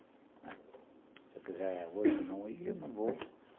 Se eu quiser, é hoje ou não, eu não vou.